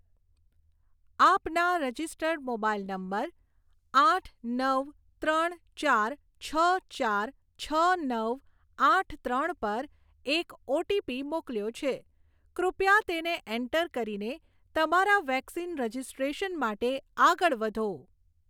આપના registered mobile number આઠ નવ ત્રણ ચાર છ ચાર છ નવ આઠ ત્રણ પર એક ઓટીપી મોકલ્યો છે, કૃપયા તેને એન્ટર કરીને તમારા વેક્સિન રજિસ્ટ્રેશન માટે આગળ વધો.